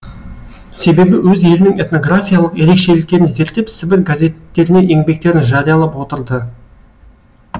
себебі өз елінің этнографиялық ерекшеліктерін зерттеп сібір газеттеріне еңбектерін жариялап отырды